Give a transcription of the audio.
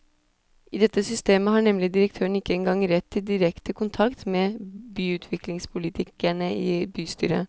I dette systemet har nemlig direktøren ikke engang rett til direkte kontakt med byutviklingspolitikerne i bystyret.